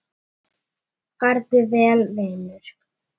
Farðu vel, vinur.